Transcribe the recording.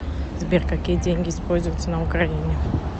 сбер какие деньги используются на украине